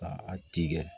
Ka a tigɛ